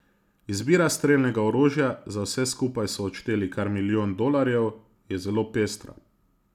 Izbira strelnega orožja, za vse skupaj so odšteli kar milijon dolarjev, je zelo pestra.